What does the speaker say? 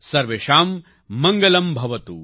સર્વેષાં મડ્ગલંભવતુ